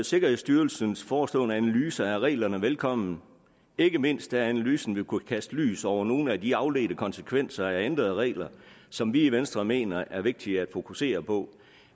sikkerhedsstyrelsens forestående analyse af reglerne velkommen ikke mindst da analysen vil kunne kaste lys over nogle af de afledte konsekvenser af ændrede regler som vi i venstre mener er vigtigere at fokusere på